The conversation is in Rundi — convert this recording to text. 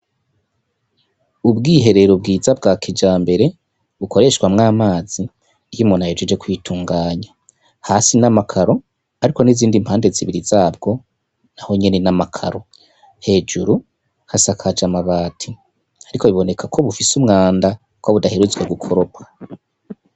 Ubwiherero bwiza bwa kijambere bukoreshwamwo amazi iyo umuntu ahejeje kwitunganya, hasi ni amakaro ariko n'izindi mpande zibiri zabwo naho nyene ni amakaro. Hejuru hasakaje amabati ariko biboneka ko bufise umwanda kuko budaheretse gukoropwa.